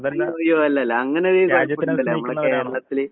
അയ്യോ അയ്യോ അല്ലല്ലാ. അങ്ങനൊരു നമ്മളെ കേരളത്തില്